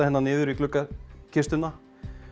hérna niður í gluggakistuna